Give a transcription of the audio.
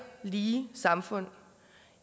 lige samfund